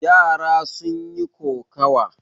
Yara sun yi kokawa.